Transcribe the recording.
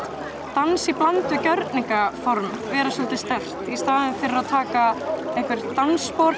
dans í bland við gjörningaform vera svolítið sterkt í staðinn fyrir að taka einhver dansspor